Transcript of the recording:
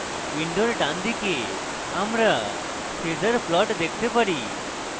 window ডানদিকে আমরা phasor plot দেখতে পারি